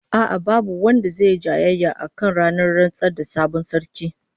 A'a, babu wanda zai yi jayayya akan ranar rantsar da sabon sarki